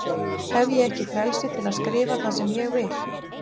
Hef ég ekki frelsi til að skrifa það sem ég vil?